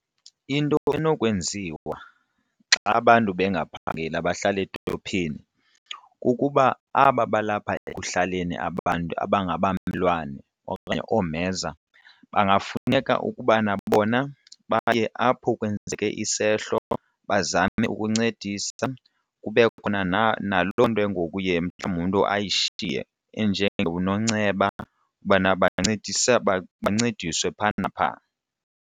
Into enokwenziwa xa abantu bengaphangeli abahlala edolophini kukuba aba balapha ekuhlaleni aba bantu abangabamelwane okanye oomheza kungafuneka ukubana bona baye apho kwenzeke isehlo bazame ukuncedisa kubekho khona nalo loo nto ke ngoku uye mhlawumbi umntu ayishiye enjengononceba ubana bancediswe phaa naphaa.